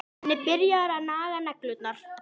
Leggja menn sig niður við jafn lágkúrulegt hjal?